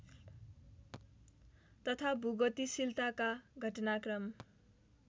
तथा भूगतिशीलताका घटनाक्रम